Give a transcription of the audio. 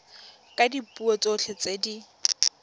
ka dipuo tsotlhe tse di